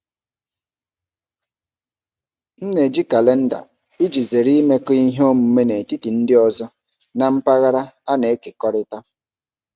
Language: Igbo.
M na-eji kalenda iji zere imekọ ihe omume n'etiti ndị ọzọ na mpaghara a na-ekekọrịta.